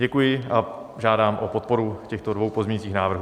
Děkuji a žádám o podporu těchto dvou pozměňujících návrhů.